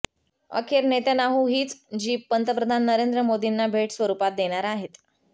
अखेर नेत्यानाहू हीच जीप पंतप्रधान नरेंद्र मोदींना भेट स्वरूपात देणार आहेत